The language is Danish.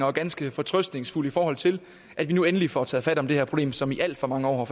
er ganske fortrøstningsfuld i forhold til at vi nu endelig får taget fat om det her problem som i alt for mange år har